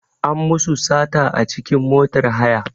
An musu sata a cikin motar haya.